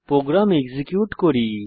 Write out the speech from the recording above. programme execute করি